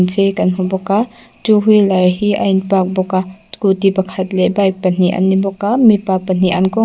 chei kan hmu bawka two wheeler hi a in park bawka scooty pakhat leh bike pahnih an ni bawk a mipa pahnih an kaw--